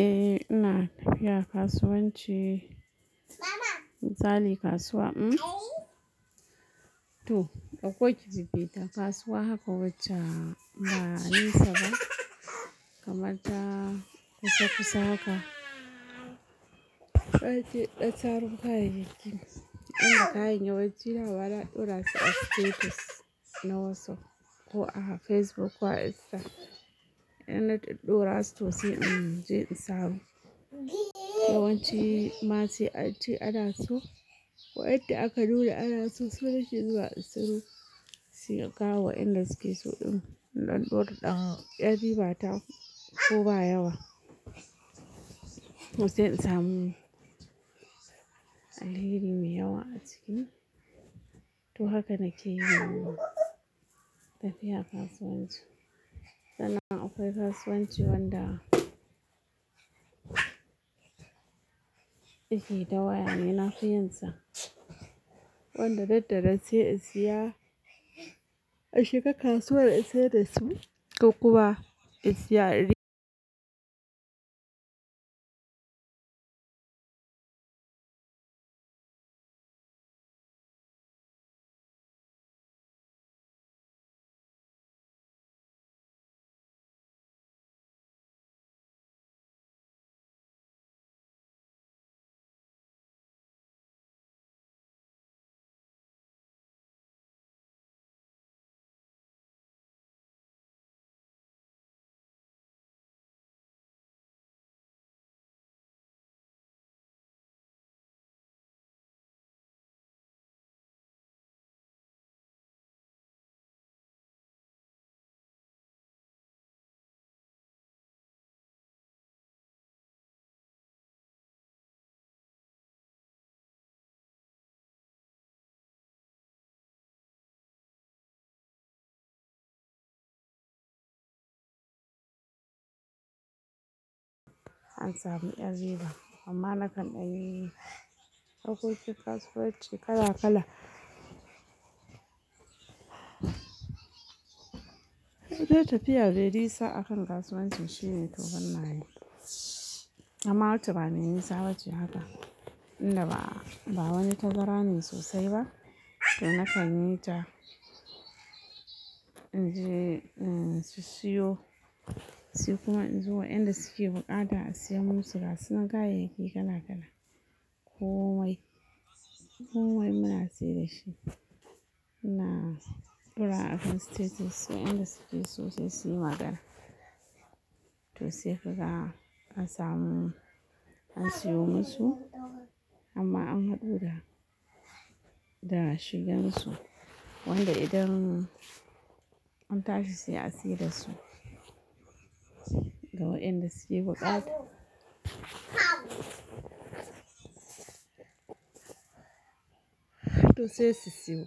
Eh ina tafiya kasuwanci. Misali kasuwa, to ɗauko ki jefeta kasuwa haka wacce ba nesa ba kamar ta kusa-kusa haka. Ɓace ɗa taru kaya kayayyaki inda kayan ya wucewa wala ɗora su a status na WhatsApp ko a Facebook ko a Instagram. Inda ta ɗadora su to sai in je in samu. Yawanci ma se ance ana su wayanda aka nuna ana su nake zuwa siyo sai in kawo wa inda suke su ɗin don ɗora ɗan ƴar riba ta ko ba yawa. To se in samu alheri mai yawa a ciki to haka nake yi tafiya kasuwanci. Sannan akwai kasuwanci wanda ike ta waya ne nafi yinsa. Wanda dan danan sai a siya a shiga kasuwar a sayar da su ko kuma a siya ari. An samu ƴar riba amma na kan ɗan yi harkokin kasuwanci kala-kala. Wata tafiya me nisa akan kasuwancin shine to ban na yi. Amma wacce bame nisa bace haka inda ba wani tazara ne sosai ba to na kan yi ta in je in sissiyo se kuma in zo wa'inda suke buƙata a siya musu kaya suna kayayyaki kala-kala komai ko. Komai muna sayar da shi. Ina dorawa akan status wa'inda suke so sai suyi magana. To sai kaga an samu an siyo musu amma an haɗu da da shigan su wanda idan an tashi sai a siyar da su ga wa'inda suke buƙata. To sai su siyo.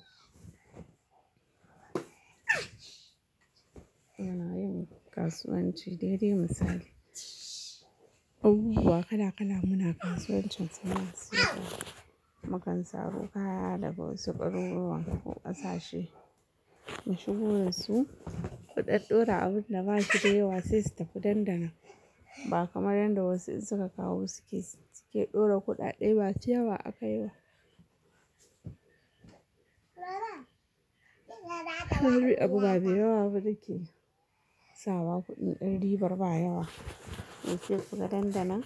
Muna yin kasuwanci dai dai misali. Abubuwa kala-kala muna kasuwancin sana'a su da mukan saro kaya daga wasu garuruwan ko ƙasashe. Mu shigo da su ku ɗadɗora abun da ba shi da yawa sai su tafi dan danan. Ba kamar yanda wasu in suka kawo suke ɗora kuɗaɗe ba masu yawa akai ba. Abubuwa dayawa ba muke sawa ba kuɗi ɗan ribar ba yawa. To se suga dandanan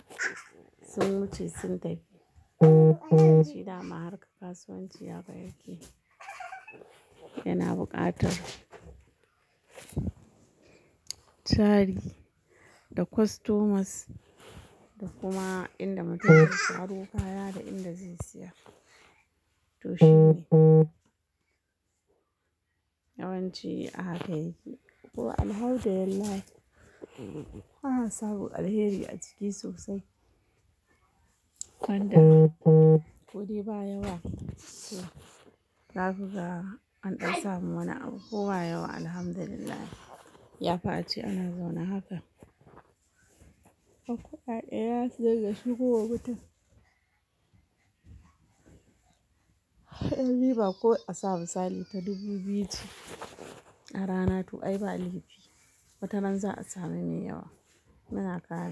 sun wuce sun tafi. Yawanci dama harkar kasuwanci haka yake yana buƙatar tari da customers da kuma inda mutum zai saro kaya da inda zai siya. To shine. Yawanci a haka yake ko alhamdulillah ba a samu alheri a ciki sosai wanda ko dai ba yawa za ku ga an ɗan samu wani abu ko ba yawa alhamdulillah. Yafi ace ana zaune haka. Kuɗaɗe za su dinga shigo wa mutum. Ƴar riba ko a samu misali ta dubu biyu ce a rana to ai ba laifj. Wata ran za a sami mai yawa. Muna kaya.